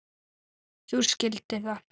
Þú skildir það.